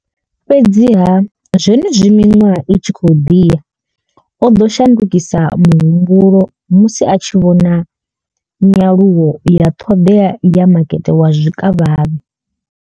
Fhedziha zwenezwi miṅwaha i tshi khou ḓi ya o ḓo shandukisa muhumbulo musi a tshi vhona nyaluwo ya ṱhoḓea ya makete wa zwikavhavhe.